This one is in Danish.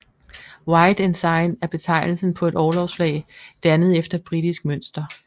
White Ensign er betegnelsen på et orlogsflag dannet efter britisk mønster